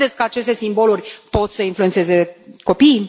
Credeți că aceste simboluri pot să influențeze copiii?